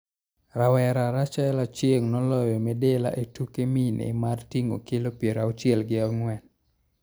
Rawera Rachael Achieng' noloyo midila ee tuke mine mar ting'o kilo piero auchiel gi ang'wen.